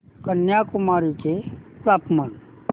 कन्याकुमारी चे तापमान